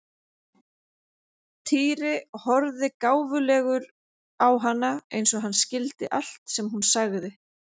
Týri horfði gáfulegur á hana eins og hann skildi allt sem hún sagði.